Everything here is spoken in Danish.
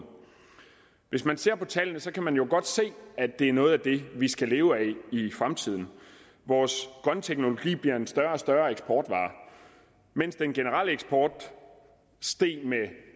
hvis man ser på tallene kan man jo godt se at det er noget af det vi skal leve af i fremtiden vores grønne teknologi bliver en større og større eksportvare mens den generelle eksport steg med